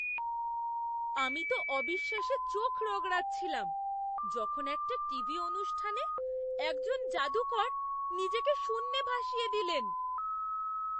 আমি তো অবিশ্বাসে চোখ রগড়াচ্ছিলাম যখন একটা টিভি অনুষ্ঠানে একজন যাদুকর নিজেকে শূন্যে ভাসিয়ে দিলেন!